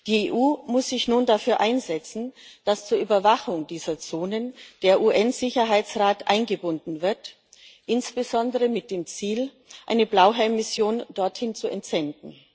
Die EU muss sich nun dafür einsetzen, dass zur Überwachung dieser Zonen der UN Sicherheitsrat eingebunden wird, insbesondere mit dem Ziel, eine Blauhelmmission dorthin zu entsenden.